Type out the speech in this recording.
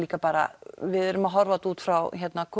líka bara við erum að horfa á þetta út frá